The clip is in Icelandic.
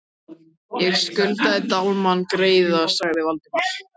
. ég skuldaði Dalmann greiða sagði Valdimar.